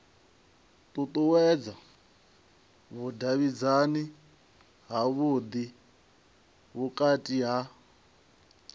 ṱuṱuwedza vhudavhidzani havhudi vhukati ha